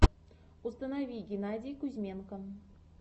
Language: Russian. установи геннадий кузьменко